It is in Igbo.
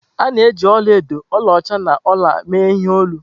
A na-eji ọla edo, ọlaọcha na ọla mee ihe olu.